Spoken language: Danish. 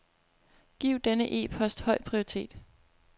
Giv denne e-post høj prioritet.